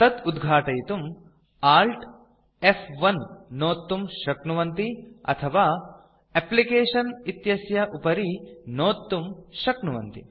तत् उद्घाटयितुं Alt फ्1 नोत्तुं शक्नुवन्ति अथवा एप्लिकेशन इत्यस्य उपरि नोत्तुं शक्नुवन्ति